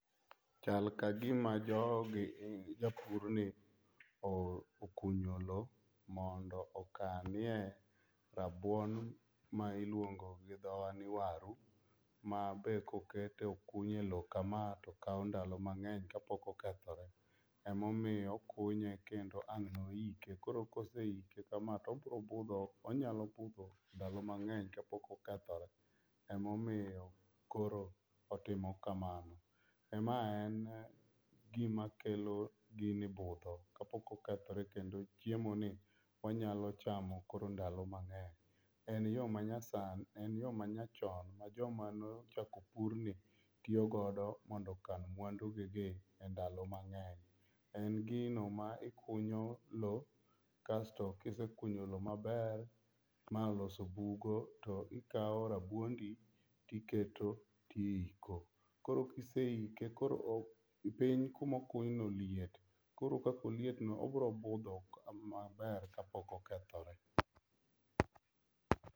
Chal kagima jogi japurni okunyo lowo mondo okanie rabuon ma iluong gi dhowa ni waru, ma be kokete okuny elowo kamae to kawo ndalo mang'eny kapok okethore. Emomiyo okunye kendo ang' noike. Koro ka oseike kama to obiro budho onyalo budho ndalo mang'eny kapok okethore. Emomiyo koro timo kamano, mae en gima kelo gini budho kapok oketore kendo chiemoi onyalo chamokorondalo mang'eny. En yo manyasani en yo manyachan ma jomane ochako purni tiyo godo mondo okan mwandugigi endalo mang'eny. En gino ma ikunyo lowo kasto kisekunyo lowo maber ma oloso bugo to ikawo rabuondi tiketo to iiko. Koro ka iseike koro piny kuma okuny no liet koro kaka olietno obiro budho kapok okethore